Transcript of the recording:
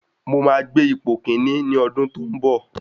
Mo máa gbé ipò kíní ní ọdún tó ń bọ̀.